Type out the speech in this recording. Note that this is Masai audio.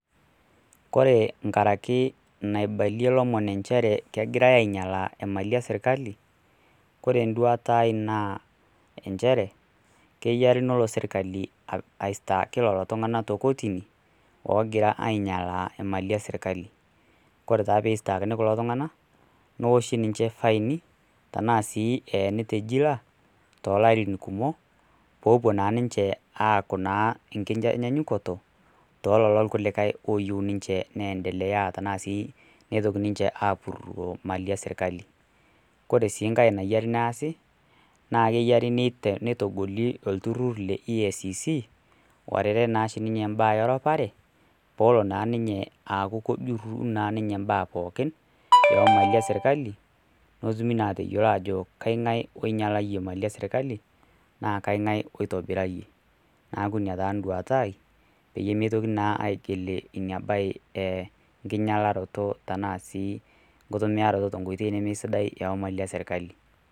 kore nkarakee naibalie lomon ncheree kegirai aiyalaa ee malii ee sirkalii kore nduatai naa encheree keyarii noloo sirkalii aistaaki lolo tunganaa te kotinii oogira ainyalaa emalii esirkalii kore taa peistaakini kuloo tunganaa nooshii ninshee faini tanaa sii eeni te jilaa toh larin kumoo poopuo naa ninjee aaku naa ee nkitanyanyukotoo tololo lkulikai looyeu ninjee neendelea tanaa sii neitokii ninjee apuroo malii ee sirkalii. Kore sii nghai nayerii naasi naa keyarii neitogolii ee lturur le IECC lorere naashi ninyee mbaa ee roparee poolo naa ninyee aaku kojuruu naa ninyee mbaa pooki ee mali ee sirkalii notumii naa ateyoloo ajoo ee kanghai einyalayee emalii ee sirkali naa kainghai oitibiraiyee naaku inia taa nduataa aai peyie meitokinii naa aigil inia bai ee nkinyalakunoo tanaa sii nkutumiaratoo tooh nkoitei nemeisidai oo malii ee sirkali